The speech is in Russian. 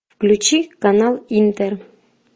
включи канал интер